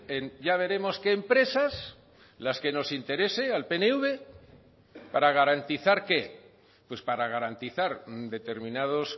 en ya veremos qué empresas las que nos interese al pnv para garantizar qué pues para garantizar determinados